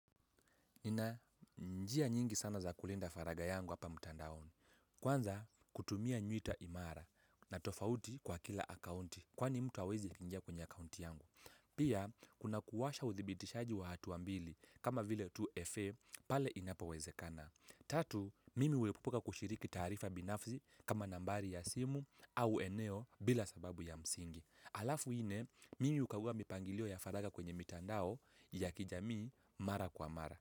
Nina njia nyingi sana za kulinda faraga yangu hapa mtandaoni. Kwanza kutumia nywita imara na tofauti kwa kila akaunti kwani mtu hawezi akaingia kwenye akaunti yangu. Pia kuna kuwasha uthibitishaji wa hatu wa mbili kama vile 2FA pale inapo wezekana. Tatu, mimi huepuka kushiriki taarifa binafsi kama nambari ya simu au eneo bila sababu ya msingi. Alafu nne, mimi hukagua mipangilio ya faraga kwenye mitandao ya kijamii mara kwa mara.